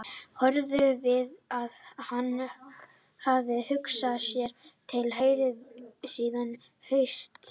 Hörður viðurkennir að hann hafi hugsað sér til hreyfings síðastliðið haust.